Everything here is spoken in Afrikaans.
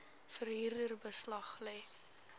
verhuurder beslag lê